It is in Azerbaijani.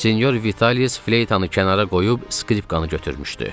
Senyor Vialis fleytanı kənara qoyub, skripkanı götürmüşdü.